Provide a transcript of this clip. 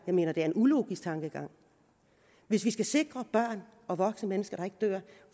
mener det er en ulogisk tankegang hvis vi skal sikre at børn og voksne mennesker ikke dør